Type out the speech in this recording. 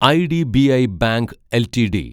IDBI bank LTD